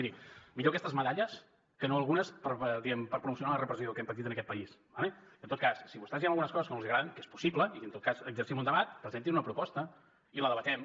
mirin millor aquestes medalles que no algunes diguem ne per promocionar la repressió que hem patit en aquest país d’acord i en tot cas si a vostès hi ha algunes coses que no els agraden que és possible i en tot cas exercim un debat presentin una proposta i la debatem